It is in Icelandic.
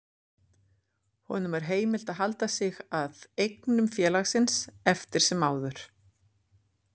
Þegar hún gekk burt, bætti hann við: Ég er búinn að stofna eigið fyrirtæki.